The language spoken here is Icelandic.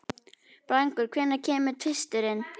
Blængur, hvenær kemur tvisturinn?